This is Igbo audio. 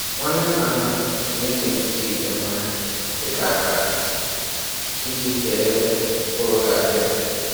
Nwanne nna nna m na-eji mkpuchi ite mmanya dị ka akara iji kee ebe mkpụrụ ga-adịrị.